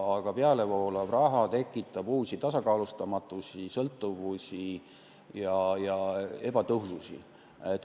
Aga pealevoolav raha tekitab uusi tasakaalustamatusi, sõltuvusi ja ebatõhususi.